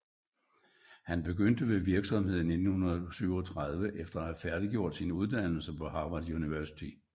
Han begyndte ved virksomheden i 1937 efter at have færdiggjort sin uddannelse på Harvard University